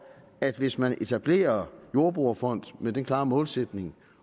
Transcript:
at hvis man etablerer jordbrugerfond med den klare målsætning